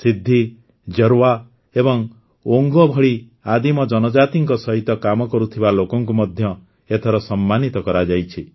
ସିଦ୍ଧି ଜାର୍ୱା ଏବଂ ଓଙ୍ଗେ ଭଳି ଆଦିମ ଜନଜାତିଙ୍କ ସହିତ କାମ କରୁଥିବା ଲୋକଙ୍କୁ ମଧ୍ୟ ଏଥର ସମ୍ମାନିତ କରାଯାଇଛି